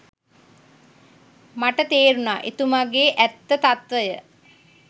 මට තේරුණා එතුමගෙ ඇත්ත තත්ත්වය.